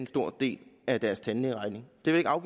stor del af deres tandlægeregning det vil jeg